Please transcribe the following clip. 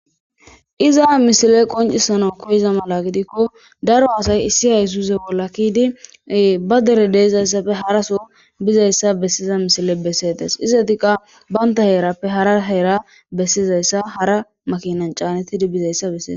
Iza misile qoncisanaw koyiza mala gidikko daro asay issi haysuse bolla ke7di ba dere de7izayssappe haraso bizayssa bessiza misile bessetes. izatikka banta heerappe hara heera bessizayssa hara makinan caanetidi bizayssa besees.